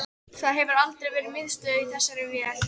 Það hefur aldrei verið miðstöð í þessari vél